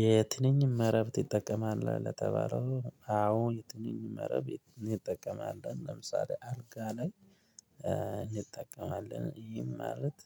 የትንኝ መረብ ትጠቀማለህ ለተባለው አዎ? የትንኝ መረብ እጠቀማለሁ ለምሳሌ አልጋ ላይ እንጠቀማለን ይህም ማለት።